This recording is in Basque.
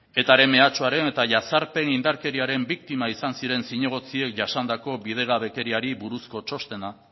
etaren mehatxuaren eta jazarpen indarkeriaren biktima izan ziren zinegotziek jasandako bidegabekeriari buruzko txostena